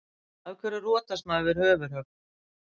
Af hverju rotast maður við höfuðhögg?